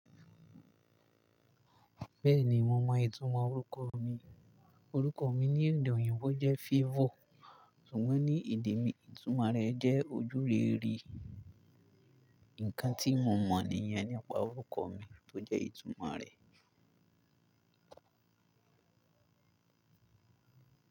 Bẹ́ẹ̀ni, mo mọ ìtumọ̀ orúkọ mi. Orúkọ mi ní èdè òyìnbó jẹ́ Favour, ṣùgbọ́n ní èdè mi, ìtumọ̀ rẹ̀ jẹ́ ojúrere. Ǹkan tí mo mọ̀ níyen nipa orúkọ mi tó jẹ́ ìtumọ̀ rẹ̀.